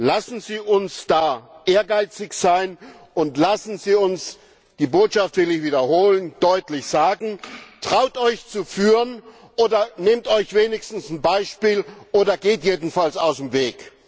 Lassen Sie uns da ehrgeizig sein, und lassen Sie uns die Botschaft will ich wiederholen deutlich sagen Traut euch zu führen, oder nehmt euch wenigstens ein Beispiel, oder geht jedenfalls aus dem Weg!